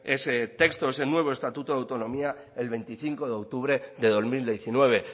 ese texto ese nuevo estatuto de autonomía el veinticinco de octubre de dos mil diecinueve